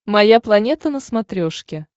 моя планета на смотрешке